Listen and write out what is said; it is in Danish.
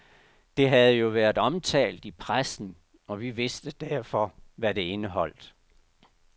Det havde jo været omtalt i pressen, og vi vidste derfor, hvad det indeholdt.